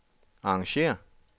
arrangér